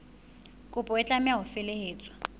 kopo e tlameha ho felehetswa